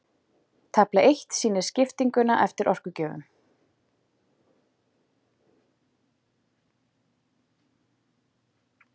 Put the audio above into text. Stjórn Sjómannafélags Íslands